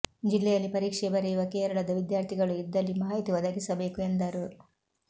ಜಿಲ್ಲೆಯಲ್ಲಿ ಪರೀಕ್ಷೆ ಬರೆಯುವ ಕೇರಳದ ವಿದ್ಯಾರ್ಥಿಗಳು ಇದ್ದಲ್ಲಿ ಮಾಹಿತಿ ಒದಗಿಸಬೇಕು ಎಂದರು